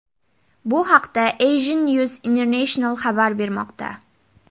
Bu haqda Asian News International xabar bermoqda .